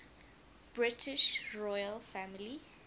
british royal family